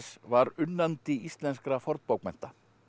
var unnandi íslenskra fornbókmennta